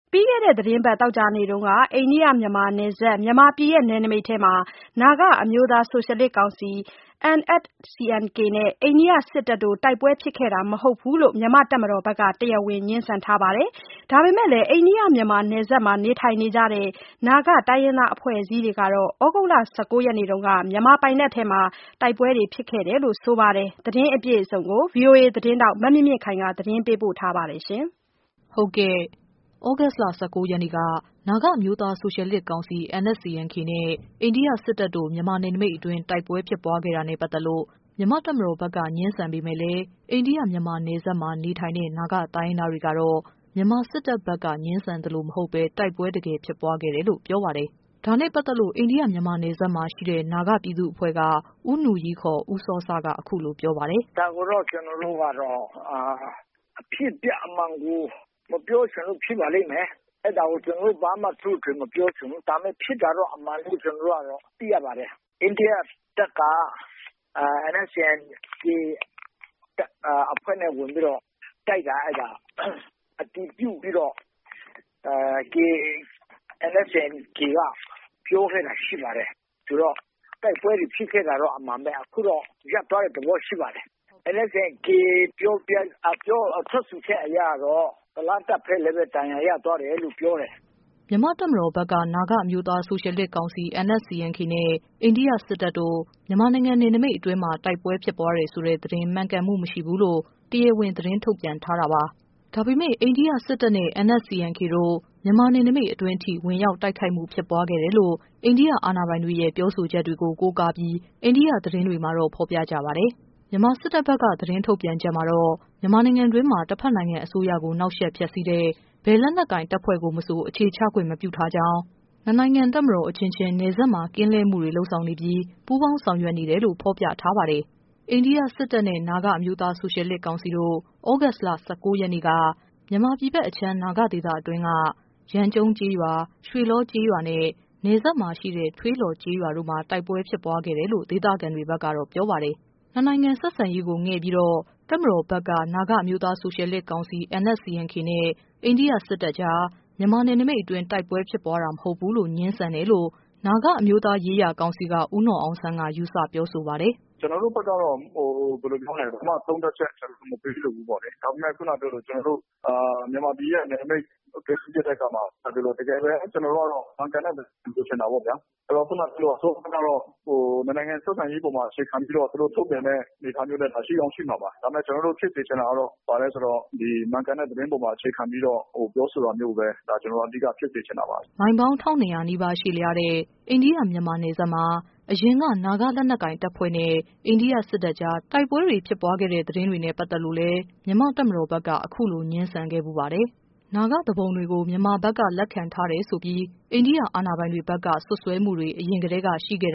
ပြီးခဲ့တဲ့အပတ် သောကြာနေ့က အိန္ဒိယ-မြန်မာနယ်စပ် မြန်မာပြည် နယ်နိမိတ်အတွင်းမှာ နာဂအမျိုးသားဆိုရှယ် လစ်ကောင်စီ နဲ့ အိန္ဒိယစစ်တပ်တို့ တိုက်ပွဲဖြစ်ခဲ့တာမဟုတ်ဘူးလို့ မြန်မာ့ တပ်မတော်ဘက်ကတော့ တရားဝင် ငြင်းဆန်ထားပါတယ်။ ဒါပေမယ့် အိန္ဒိယ၊ မြန်မာနယ်စပ်မှာ နေထိုင်ကြတဲ့ နာဂတိုင်းရင်းသားအဖွဲ့အစည်းတွေက တော့ သြဂုတ်လ ၁၉ရက်နေ့က မြန်မာပိုင်နက်ထဲ တိုက်ပွဲဖြစ်ပွားခဲ့တယ်လို့ ဆိုနေပါတယ်။ ဒီ သတင်းအပြည့်အစုံကိုတော့ ဗွီအိုအေ သတင်းထောက် မမြင့်မြင့်ခိုင်က တင်ပြထားပါတယ်။ သြဂုတ်လ ၁၉ရက်နေ့က နာဂအမျိုးသားဆိုရှယ်လစ်ကောင်စီ နဲ့ အိန္ဒိယစစ်တပ်တို့ မြန်မာပြည်နယ်နိမိတ်အတွင်း တိုက်ပွဲဖြစ်ပွားခဲ့တာနဲ့ ပတ်သက်လို့ မြန်မာ့တပ်မတော်ဘက်က ငြင်းဆန်ပေမယ့် လည်း အိန္ဒိယ- မြန်မာနယ်စပ်မှာ နေထိုင်တဲ့ နာဂတိုင်းရင်းသားတွေကတော့ မြန်မာစစ်တပ်ဘက်က ငြင်းဆန် သလိုမဟုတ်ဘဲ တကယ်ပဲတိုက်ပွဲဖြစ်ပွားခဲ့တယ်လို့ ပြောပါတယ်။ ဒါနဲ့ ပတ်သက်လို့ အိန္ဒိယ- မြန်မာနယ်စပ်မှာရှိတဲ့နာဂပြည်သူ့အဖွဲ့က ဦးနူရီး ခေါ် ဦးစောစက အခုလိုပြောပြပါတယ်။ “ဒါကိုတော့ သူတို့ကတော့ အဖြစ်အပျက်အမှန်ကို မပြောချင်လို့ဖြစ်ပါလိမ့်မယ်။အဲဒါကို ကျနော်တို့ ဘာမှ ထွေထွေထူးထူးမပြောချင်ဘူး ဒါပေမယ့် ဖြစ်တာအမှန်လို့တော့ ကျနော်တို့သိရပါတယ်။ အိန္ဒိယတပ်က NSCN-K အဖွဲ့နဲ့ ဝင်ပြီးတော့တိုက်တာ အတည်ပြုပြီးတော့ NSCN-K ကပြောခဲ့တာရှိပါတယ်။ ဆိုတော့ တိုက်ပွဲတွေဖြစ်ခဲ့တာကတော့ အမှန်ပဲ အခုတော့ ရပ်သွားတဲ့သဘောရှိပါတယ်။ NSCN-K ထွက်ဆိုချက်အရကတော့ အိန္ဒိယတပ်ဘက်လည်း ဒဏ်ရာရသွားတယ်လို့ပြောတယ်။” မြန်မာ့တပ်မတော်ဘက်က နာဂအမျိုးသားဆိုရှယ်လစ်ကောင်စီ နဲ့ အိန္ဒိယစစ်တပ်တို့ မြန်မာနိုင်ငံ နယ်နိမိတ်အတွင်း တိုက်ပွဲဖြစ်တယ်ဆိုတဲ့ သတင်း မှန်ကန်မှုမရှိဘူးလို့ တရားဝင်သတင်းထုတ်ပြန်ထားတာပါ။ ဒါပေမယ့် အိန္ဒိယ စစ်တပ်နဲ့ NSCN-K တို့ မြန်မာနယ်နိမိတ်အတွင်းထိ ဝင်ရောက် တိုက်ခိုက်မှုဖြစ်ပွားခဲ့တယ်လို့ အိန္ဒိယအာဏာပိုင်တွေရဲ့ ပြောဆိုချက်တွေကို ကိုကားပြီး အိန္ဒိယသတင်းတွေမှာ ဖော်ပြကြပါတယ်။ မြန်မာစစ်တပ်ဘက်က သတင်းထုတ်ပြန်ချက်မှာတော့ မြန်မာနိုင်ငံတွင်းမှာ တဖက်နိုင်ငံအစိုးရကို နှောင့်ယှက် ဖျက်ဆီးတဲ့ ဘယ်လက်နက်ကိုင်တပ်ဖွဲ့ကိုမဆို အခြေချခွင့်မပြုကြောင်း၊ နှစ်နိုင်ငံ တပ်မတော် အချင်းချင်း နယ် စပ် ကင်းလှည့်မှုတွေကို လုပ်ဆောင်နေပြီး ပူးပေါင်းဆောင်ရွက်နေတယ်လို့ ဖော်ပြထားပါတယ်။ အိန္ဒိယစစ်တပ်နဲ့ နာဂ အမျိုးသား ဆိုရှယ်လစ်ကောင်စီတို့ သြဂုတ်လ ၁၉ရက်နေ့က မြန်မာပြည်ဘက်အခြမ်း နာဂ ဒေသအတွင်းက ယမ်းကြုံးကျေးရွာနဲ့ ရွှေလော ကျေးရွာနဲ့ နယ်စပ်မှာရှိတဲ့ ထွေးလော်ရွာတို့မှာ တိုက်ပွဲဖြစ် ပွားခဲ့တယ်လို့ ဒေသခံတွေ ဘက်ကပြောပါတယ်။ နှစ်နိုင်ငံဆက်ဆံရေးကို ငဲ့ပြီတော့ တပ်မတော်ဘက်က NSCN-K နဲ့အိန္ဒိယတပ်ကြား မြန်မာနယ်နိမိတ်အတွင်း တိုက်ပွဲဖြစ်တာ မဟုတ်ဘူးလို့ ငြင်းဆန်တယ်လို့ နာဂအမျိုးသားရေးရာကောင်စီက ဦးနော်အောင်ဆန်းက ယူဆပြောဆိုပါတယ်။ “ကျနော်တို့ဘက်ကတော့ ဘာမှသုံးသပ်ချက်မပေးလိုဘူးလေ။ ဒါပေမယ့် ခုနပြောသလို မြန်မာပြည်ရဲ့ နယ်နမိတ် မှာဖြစ်တဲ့အခါမှာ ကျနော်ကတော့ မှန်ကန်တာကိုပဲလိုချင်တယ်ပေါ့ဗျာ။ ခုနပြောတဲ့ ၂ နိုင်ငံဆက်ဆံရေးအပေါ်မှာအခြေခံပြီးတော့ သူတို့ထုတ်ပြန်တဲ့အနေအထားမျိုးလည်း ရှိကောင်းရှိမှာပါ။ ဒါပေမယ့် ကျနော်တို့ ဖြစ်စေချင်တာကတော့ ဘာလဲဆိုတော့ ဒီမှန်ကန်တဲ့ သတင်းအပေါ်မှာအခြေခံပြီးတော့ ပြောဆိုတာမျိုးကိုပဲ ကျနော်တို့ အဓိကဖြစ်စေချင်တာပါ။” မိုင်ပေါင်း ၁၂၀၀နီးပါး ရှည်လျားတဲ့ အိန္ဒိယ- မြန်မာနယ်စပ်မှာ အရင်က နာဂလက်နက်ကိုင်တပ်ဖွဲ့နဲ့ အိန္ဒိယ စစ်တပ်ကြား တိုက်ပွဲဖြစ်ပွားခဲ့တဲ့ သတင်းတွေနဲ့ ပတ်သက်လို့မြန်မာ့တပ်မတော်ဘက်က အခုလို ငြင်းဆန်ခဲ့ဖူးပါတယ်။ နာဂသူပုန်တွေကို မြန်မာဖက်က လက်ခံထားတယ်ဆိုတယ်ဆိုပြီး အိန္ဒိယအာဏာပိုင်တွေ ဖက်က စွပ်စွဲမှုတွေ အရင်ကတည်းက ရှိခဲ့